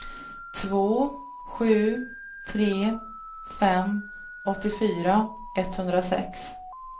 två sju tre fem åttiofyra etthundrasex